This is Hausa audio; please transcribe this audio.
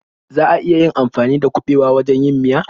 Za a iya amfani dakuɓewa wurin yin miya?